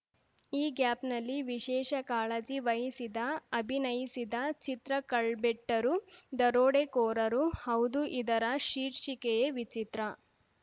ಅ ಗ್ಯಾಪ್‌ನಲ್ಲಿ ವಿಶೇಷ ಕಾಳಜಿ ವಹಿಸಿದ ಅಭಿನಯಿಸಿದ ಚಿತ್ರ ಕಳ್ಬೆಟ್ಟರು ದರೋಡೆಕೋರರು ಹೌದೂ ಇದರ ಶೀರ್ಷಿಕೆಯೇ ವಿಚಿತ್ರ